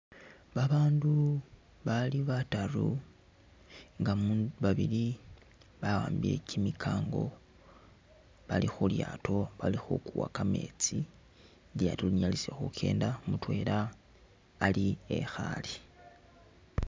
Babandu babali bataru nga babili bawambile kyimikango bali khulyaato bali khukuwa kameetsi lyaato linyalise khukenda mutwela ali ekhale.